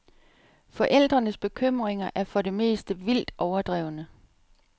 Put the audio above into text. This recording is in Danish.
Forældrenes bekymringer er for det meste vildt overdrevne.